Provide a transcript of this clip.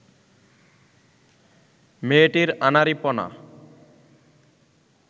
মেয়েটির আনাড়িপনা